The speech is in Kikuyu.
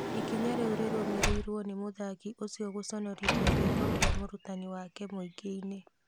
Ikinya rĩu rĩrũmĩrĩirwo nĩ mũthaki ũcio gũconorothia gĩko kĩa mũrutani wake mũingĩ-inĩ